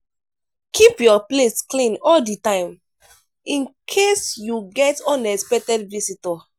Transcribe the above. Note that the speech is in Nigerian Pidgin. keep your place clean all di time in case you get unexpected visitor